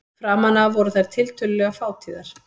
Framan af voru þær tiltölulega fátíðar.